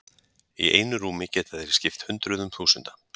Í einu rúmi geta þeir skipt hundruðum þúsunda.